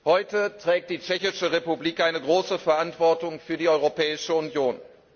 Heute trägt die tschechische Republik eine große Verantwortung für die Europäische Union.